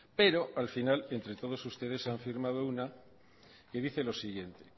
pero al final entre todos ustedes han firmado una que dice lo siguiente